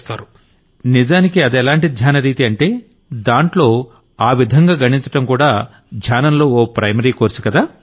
నరేంద్రమోడీ నిజానికి అదెలాంటి ధ్యాన రీతి అంటే దాంట్లో ఆ విధంగా గణించడం కూడా ధ్యానంలో ఓ ప్రైమరీ కోర్సు కదా